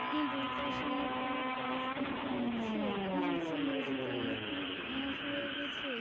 এ দুই পাশে অনেকগুলি গাছ দেখা যাচ্ছে নিচে মেঝেতে অনেকগুলি ঘাস হয়ে গেছে।